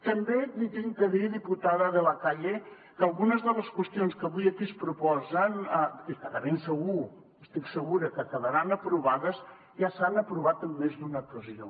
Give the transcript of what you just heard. també li he de dir diputada de la calle que algunes de les qüestions que avui aquí es proposen i que de ben segur estic segura que quedaran aprovades ja s’han aprovat en més d’una ocasió